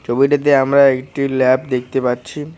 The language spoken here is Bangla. ছবিটিতে আমরা একটি ল্যাব দেখতে পাচ্ছি।